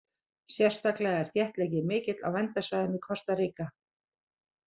Sérstaklega er þéttleikinn mikill á verndarsvæðum í Kosta Ríka.